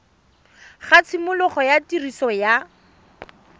ga tshimologo ya tiriso ya